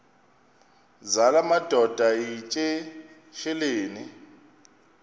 zala madoda yityesheleni